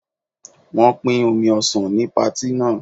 Wọn pin omi ọsàn ní patí náà.